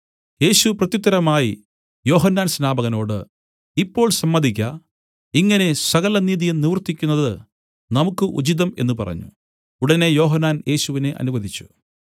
യേശു പ്രത്യുത്തരമായി യോഹന്നാൻ സ്നാപകനോട് ഇപ്പോൾ സമ്മതിക്ക ഇങ്ങനെ സകലനീതിയും നിവർത്തിയ്ക്കുന്നത് നമുക്കു ഉചിതം എന്നു പറഞ്ഞു ഉടനെ യോഹന്നാൻ യേശുവിനെ അനുവദിച്ചു